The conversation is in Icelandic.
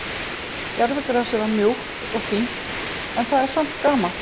Gervigrasið var mjúkt og fínt en það er samt gamalt.